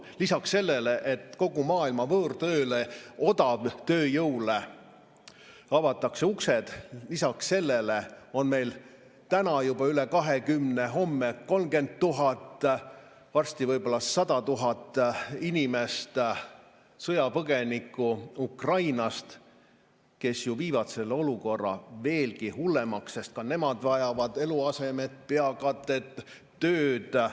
Lisaks sellele, et kogu maailma võõrtööle, odavtööjõule avatakse uksed, on meil täna juba üle 20 000, homme 30 000, varsti võib-olla 100 000 sõjapõgenikku Ukrainast, kes ju viivad olukorra veelgi hullemaks, sest ka nemad vajavad eluaset ja tööd.